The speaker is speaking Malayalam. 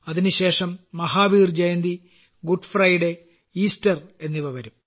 അതിനുശേഷം മഹാവീർജയന്തി ദുഃഖ വെള്ളി ഈസ്റ്റർ എന്നിവ വരും